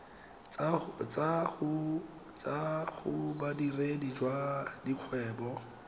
tswa go bodiredi jwa dikgwebo